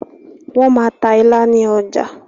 wọ́n máa ta “ilá” ní ọjà